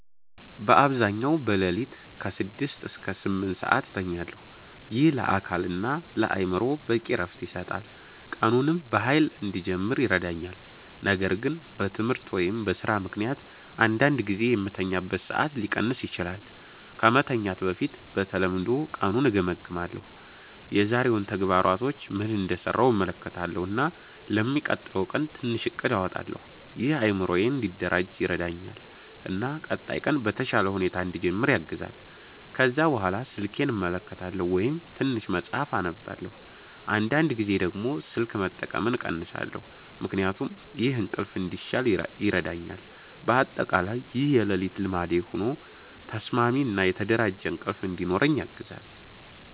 በአብዛኛው በሌሊት ከ6 እስከ 8 ሰዓት እተኛለሁ። ይህ ለአካል እና ለአእምሮ በቂ እረፍት ይሰጣል፣ ቀኑንም በኃይል እንድጀምር ይረዳኛል። ነገር ግን በትምህርት ወይም በስራ ምክንያት አንዳንድ ጊዜ የምተኛበት ሰዓት ሊቀንስ ይችላል። ከመተኛት በፊት በተለምዶ ቀኑን እገምግማለሁ። የዛሬውን ተግባሮች ምን እንደሰራሁ እመለከታለሁ እና ለሚቀጥለው ቀን ትንሽ እቅድ አወጣለሁ። ይህ አእምሮዬን እንዲደራጅ ይረዳኛል እና ቀጣይ ቀን በተሻለ ሁኔታ እንድጀምር ያግዛል። ከዚያ በኋላ ስልኬን እመለከታለሁ ወይም ትንሽ መጽሐፍ እነብባለሁ። አንዳንድ ጊዜ ደግሞ ስልክ መጠቀምን እቀንሳለሁ ምክንያቱም ይህ እንቅልፍ እንዲሻል ይረዳኛል። በአጠቃላይ ይህ የሌሊት ልማዴ ሆኖ ተስማሚ እና የተደራጀ እንቅልፍ እንዲኖረኝ ያግዛል።